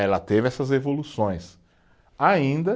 Ela teve essas evoluções, ainda